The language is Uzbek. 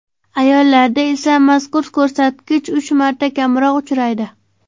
Ayollarda esa mazkur ko‘rsatkich uch marta kamroq uchraydi.